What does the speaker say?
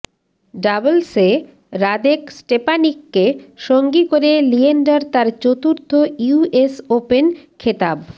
ডাবলসে Radek স্টেপানিককে সঙ্গী করে লিয়েন্ডার তাঁর চতুর্থ ইউএস ওপেন খেতাব